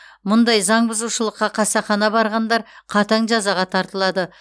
мұндай заң бұзушылыққа қасақана барғандар қатаң жазаға тартылады